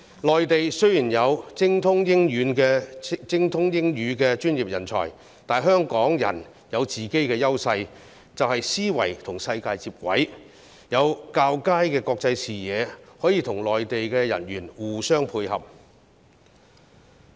內地雖然有精通英語的專業人才，但香港人有本身的優勢，即思維與世界接軌，有較佳的國際視野，可以與內地的人員互相配合。